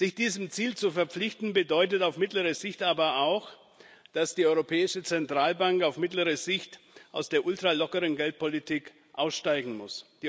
Sich diesem Ziel zu verpflichten, bedeutet auf mittlere Sicht aber auch, dass die Europäische Zentralbank auf mittlere Sicht aus der ultralockeren Geldpolitik aussteigen muss.